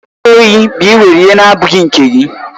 Izu ohi bụ ịwere ihe na-abụghị nke gị.